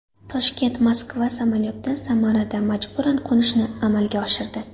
Toshkent−Moskva samolyoti Samarada majburan qo‘nishni amalga oshirdi.